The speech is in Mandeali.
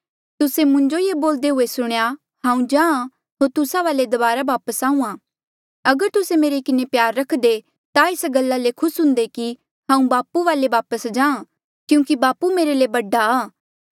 तुस्से मुंजो ये बोलदे हुए सुणेया हांऊँ जाहाँ होर तुस्सा वाले दबारा वापस आहूँआं अगर तुस्से मेरे किन्हें प्यार रखदे ता एस गल्ला ले खुस हुंदे कि हांऊँ बापू वाले वापस जाहाँ क्यूंकि बापू मेरे ले बडा आ